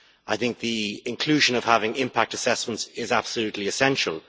I think the inclusion of impact assessments is absolutely essential.